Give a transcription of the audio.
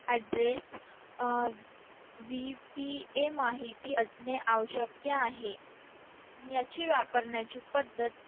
Address VPA माहित असणे आवश्यक आहे याची वापरण्याची पद्धत